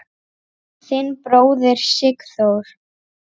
Þinn bróðir, Sigþór.